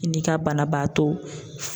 I n'i ka banabaato